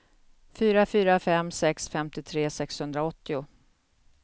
fyra fyra fem sex femtiotre sexhundraåttio